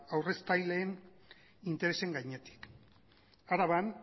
aurreztaileen interesen gainetik araban